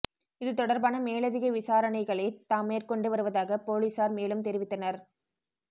இது தொடர்பான மேலதிக விசாரணைகளை தாம் மேற்கொண்டு வருவதாக பொலிஸார் மேலும் தெரிவித்தனர்